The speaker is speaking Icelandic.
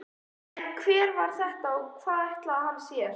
En hver var þetta og hvað ætlaði hann sér?